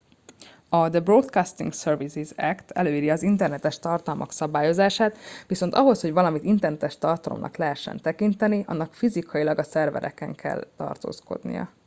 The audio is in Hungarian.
"a "the broadcasting services act" előírja az internetes tartalmak szabályozását viszont ahhoz hogy valamit internetes tartalomnak lehessen tekinteni annak fizikailag a szerveren kell tartózkodnia.